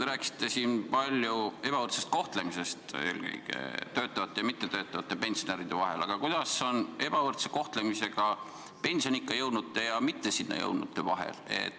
Te rääkisite siin palju eelkõige töötavate pensionäride ebavõrdsest kohtlemisest mittetöötavate pensionäridega võrreldes, aga kuidas on pensioniikka jõudnute ja sinna mittejõudnute ebavõrdse kohtlemisega?